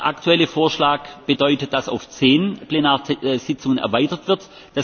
Der aktuelle Vorschlag bedeutet, dass auf zehn Plenarsitzungen erweitert wird.